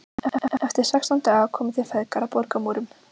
Eftir sextán daga komu þeir feðgar að borgarmúrum